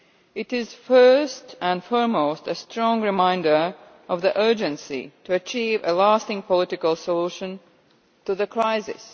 It is first and foremost a strong reminder of the urgency to achieve a lasting political solution to the crisis.